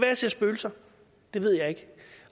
jeg ser spøgelser det ved jeg ikke